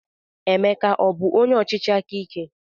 Emeka abụ onye ọchịchị aka ike?